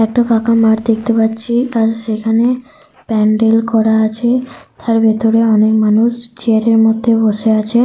একটা ফাঁকা মাঠ দেখতে পাচ্ছি আর সেখানে প্যান্ডেল করা আছে তার ভিতরে অনেক মানুষ চেয়ার -এর মধ্যে বসে আছে।